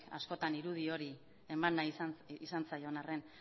askotan irudi hori eman nahi izan zaion arren